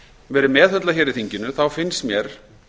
verið meðhöndlað í þinginu þá finnst mér